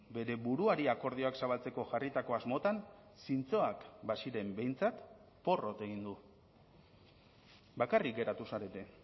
bere buruari akordioak zabaltzeko jarritako asmotan zintzoak baziren behintzat porrot egin du bakarrik geratu zarete